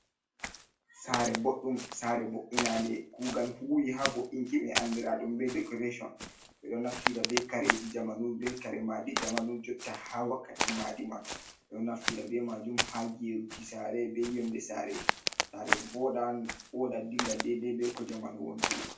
Saare boɗɗum saare bo’’inande kuugal huwi haa bo’inki may andiraaɗum be dekorecon. Ɓe ɗo naftira be kareji jamanu, be kare maadi jamanu jotta haa wakkati maadi man. Ɓe ɗo naftira be maajum haa geeruki saare be yonnde saare .Saare woɗan woɗa dilla deydey be ko jamanu wontiri.